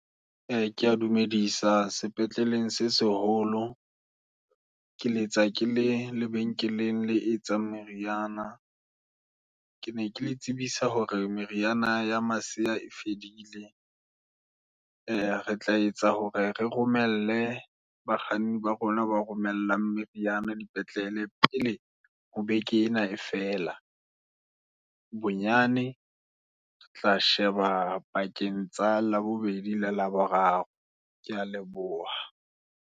Ee, kea dumedisa sepetleleng se seholo, ke letsa kele lebenkeleng le etsang meriana. Ke ne ke le tsebisa hore meriana ya masea e fedile. E re tla etsa hore, re romelle bakganni ba rona, bo romellang meriana dipetlele, pele ho beke ena e fela, bonyane re tla sheba pakeng tsa Labobedi, le Laboraro. Ke ya Leboha.